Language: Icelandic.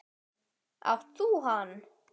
Átt þú hann?